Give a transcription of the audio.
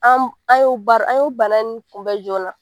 An ye bana nin kunbɛn joona